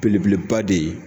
Belebeleba de ye